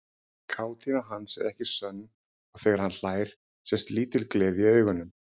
Kátína hans er ekki sönn og þegar hann hlær sést lítil gleði í augunum.